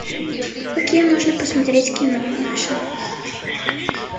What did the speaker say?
какие можно посмотреть кино маша